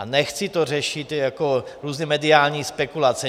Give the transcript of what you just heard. A nechci to řešit jako různé mediální spekulace.